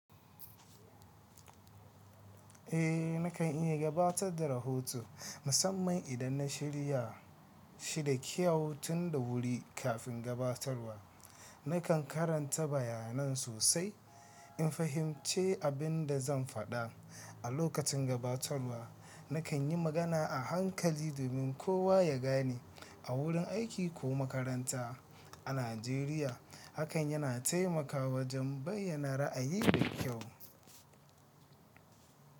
Eh nakan iya gabatar da rahoto musamman idan na shirya shi da kyau tun da wuri. Kafin gabatarwa, nakan karanta bayanan sosai in fahimci abin da zan faɗa. A lokacin gabatarwa, nakan yi magana a hankali domin kowa ya gane. A wurin aiki ko makaranta a Najeriya, hakan yana taimakawa wajen bayyana ra'ayi da kyau.